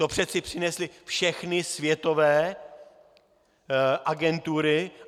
To přece přinesly všechny světové agentury.